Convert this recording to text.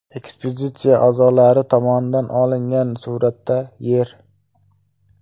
Ekspeditsiya a’zolari tomonidan olingan suratda Yer.